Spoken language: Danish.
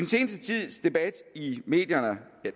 seneste tids debat i medierne